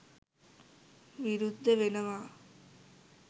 විරුද්ධ වෙනවා